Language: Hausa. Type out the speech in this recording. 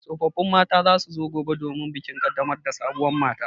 Tsofaffin mata za su zo gobe domin bikin ƙaddamar da sabuwar mata.